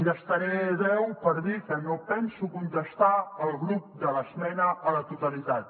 gastaré deu segons per dir que no penso contestar el grup de l’esmena a la totalitat